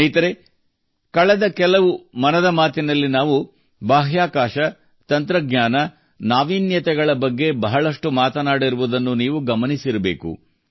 ಸ್ನೇಹಿತರೇ ಕಳೆದ ಕೆಲವು ಮನದ ಮಾತಿ ನಲ್ಲಿ ನಾವು ಬಾಹ್ಯಾಕಾಶ ತಂತ್ರಜ್ಞಾನ ನಾವೀನ್ಯಗಳ ಬಗ್ಗೆ ಬಹಳಷ್ಟು ಮಾತನಾಡಿರುವುದನ್ನು ನೀವು ಗಮನಿಸಿರಬೇಕು